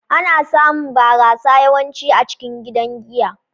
Ana samun barasa yawanci a cikin gidan giya.